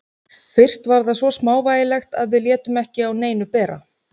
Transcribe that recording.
Fyrst var það svo smávægilegt að við létum ekki á neinu bera.